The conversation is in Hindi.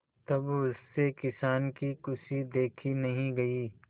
तब उससे किसान की खुशी देखी नहीं गई